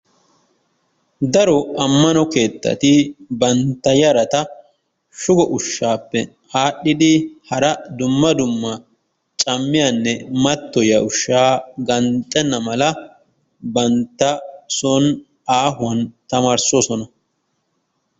Daro ammano keettati bantta yarata shugo ushaappe aadhidi hara dumma dumma cammiyanne mattoyiya ushaa ganxxenna mala bantta son aahuwan tamaarisoosona.